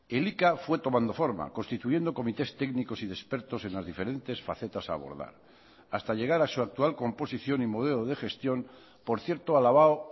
elika fue tomando forma constituyendo comités técnicos y de expertos en las diferentes facetas a abordar hasta llegar a su actual composición y modelo de gestión por cierto alabado